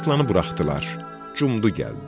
Aslanı buraxdılar, cumdu gəldi.